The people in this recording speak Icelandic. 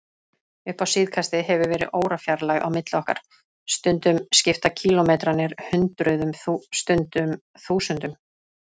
Upp á síðkastið hefur verið órafjarlægð á milli okkar, stundum skipta kílómetrarnir hundruðum, stundum þúsundum.